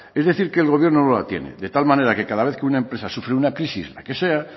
es decir que el gobierno no la tiene de tal manera que cada vez que una empresa sufre una crisis la que sea